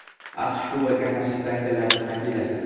AQSh Kubaga qarshi sanksiyalarni qat’iylashtirdi.